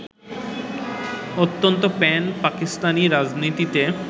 অন্তত প্যান-পাকিস্তানি রাজনীতিতে